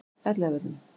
Elliðavöllum